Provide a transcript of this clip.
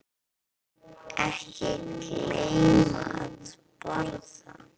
Ekki gleyma að borða.